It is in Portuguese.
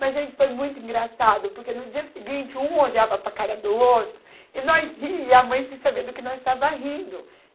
Mas, gente, foi muito engraçado, porque no dia seguinte, um olhava para a cara do outro, e nós ríamos, e a mãe sem saber do que nós estava rindo.